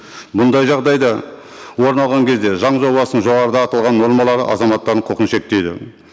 бұндай жағдайда орын алған кезде заң жобасының жоғарыда аталған нормалары азаматтардың құқын шектейді